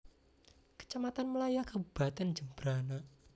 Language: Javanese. Kecamatan Melaya Kabupatèn Jembrana